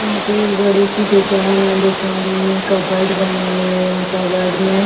यहाँ पे एक बडी शी दुकान है। दुकान में कपबोअर्ड बने हुए हैं। कपबोअर्ड में --